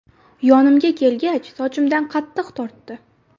Yonimga kelgach, sochimdan qattiq tortdi.